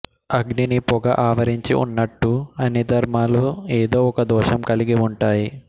అగ్నిని పొగ ఆవరించి ఉన్నట్టూ అన్ని ధర్మాలూ ఏదో ఒక దోషం కలిగి ఉంటాయి